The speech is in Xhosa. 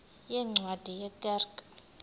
yeencwadi ye kerk